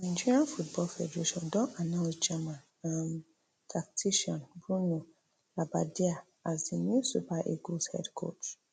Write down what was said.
di nigeria football federation don announce german um tactician bruno labbadia as di new super eagles head coach